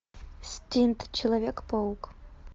стинт человек паук